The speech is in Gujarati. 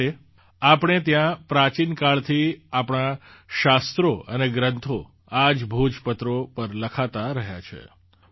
છેવટે આપણે ત્યાં પ્રાચીન કાળથી આપણાં શાસ્ત્રો અને ગ્રંથો આ જ ભોજપત્રો પર લખાતાં રહ્યાં છે